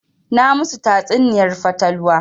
Na ma su tatsuniyar fatalwa